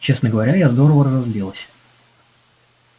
честно говоря я здорово разозлилась